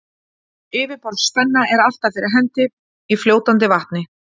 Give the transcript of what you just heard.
Yfirborðsspenna er alltaf fyrir hendi í fljótandi vatni.